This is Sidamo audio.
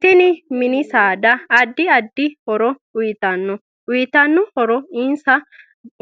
Teni mini saada addi addi horo uyiitano uyiitanno horono